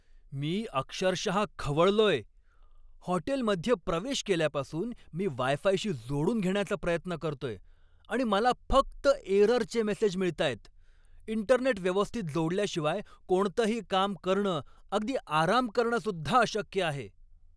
मी अक्षरशहा खवळलोय! हॉटेलमध्ये प्रवेश केल्यापासून मी वाय फायशी जोडून घेण्याचा प्रयत्न करतोय आणि मला फक्त एररचे मेसेज मिळतायत. इंटरनेट व्यवस्थित जोडल्याशिवाय कोणतंही काम करणं, अगदी आराम करणंसुद्धा अशक्य आहे.